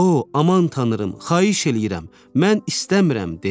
O, aman tanrım, xahiş eləyirəm, mən istəmirəm!